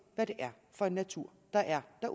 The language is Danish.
hvad det er for en natur der er